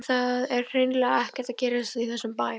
En það er hreinlega ekkert að gerast í þessum bæ.